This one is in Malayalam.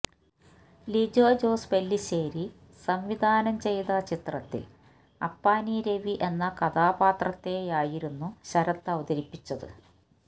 ലിജോ ജോസ് പെല്ലിശ്ശേരി സംവിധാനം ചെയ്ത ചിത്രത്തില് അപ്പാനി രവി എന്ന കഥാപാത്രത്തെയായിരുന്നു ശരത് അവതരിപ്പിച്ചത്